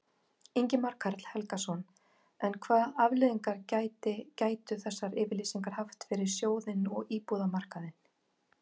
Ingimar Karl Helgason: En hvað afleiðingar gæti, gætu þessar yfirlýsingar haft fyrir sjóðinn og íbúðamarkaðinn?